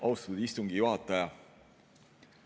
Austatud istungi juhataja!